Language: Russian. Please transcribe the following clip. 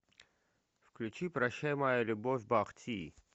включи прощай моя любовь бах ти